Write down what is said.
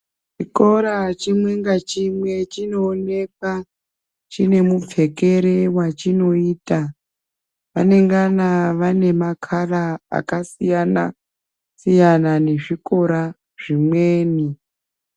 Chikoro chimwe nga chimwe chino onekwa chine mupfekere wachinoita anengana vane makala aka siyana siyana ne zvikora zvimweni.